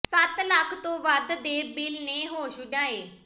ਸੱਤ ਲੱਖ ਤੋਂ ਵੱਧ ਦੇ ਬਿੱਲ ਨੇ ਹੋਸ਼ ਉਡਾਏ